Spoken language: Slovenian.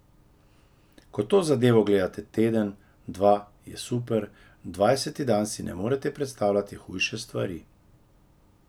Ko to zadevo gledate teden, dva, je super, dvajseti dan si ne morete predstavljati hujše stvari.